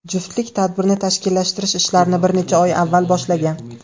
Juftlik tadbirni tashkillashtirish ishlarini bir necha oy avval boshlagan.